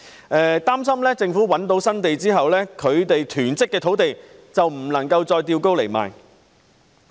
他們擔心政府覓得新土地後，便不能把其囤積的土地高價沽售。